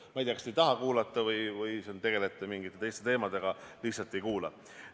Ma ei tea, kas te ei taha kuulata või tegelete mingite teiste teemadega ja lihtsalt ei kuula.